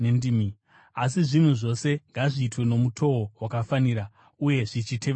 Asi zvinhu zvose ngazviitwe nomutoo wakafanira uye zvichitevedza mutemo.